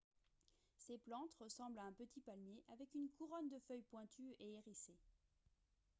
ces plantes ressemblent à un petit palmier avec une couronne de feuilles pointues et hérissées